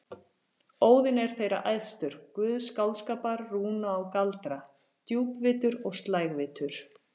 Óðinn er þeirra æðstur, guð skáldskapar, rúna og galdra, djúpvitur og slægvitur.